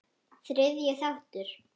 Þriðji þáttur